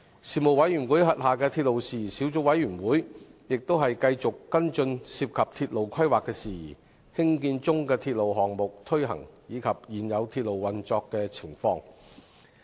事務委員會轄下的鐵路事宜小組委員會，亦繼續跟進涉及鐵路規劃的事宜、興建中的鐵路項目推行，以及現有鐵路運作的情況。